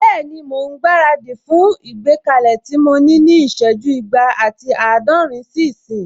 Bẹ́ẹ̀ni, mò ún gbára dì fún ìgbékalẹ̀ tí mo ní ní ìsẹ́jú igba ati àádọ́rin sí ìsín